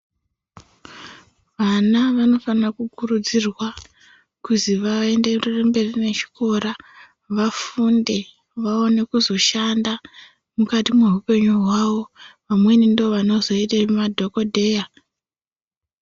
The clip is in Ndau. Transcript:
Vana vanofana kukurudzirwa kuti vaenderere mberi nechikora, vafunde vaone kuzoshanda. Mukati meupenyu hwavo vamweni ndivo vanozoite madhogodheya.